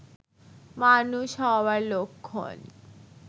মানুষ হওয়ার লক্ষণ